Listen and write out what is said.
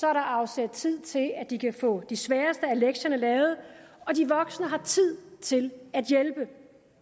er der afsat tid til at de kan få de sværeste af lektierne lavet og de voksne har tid til at hjælpe